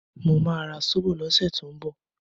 Mo ma ra Sóbò lọ́sẹ̀ tó ń bọ̀